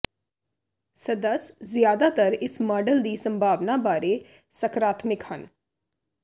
ਸਦੱਸ ਜਿਆਦਾਤਰ ਇਸ ਮਾਡਲ ਦੀ ਸੰਭਾਵਨਾ ਬਾਰੇ ਸਕਰਾਤਮਿਕ ਹਨ